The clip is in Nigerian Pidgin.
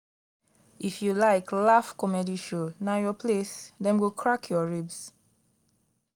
if you like laugh comedy show na your place dem go crack your ribs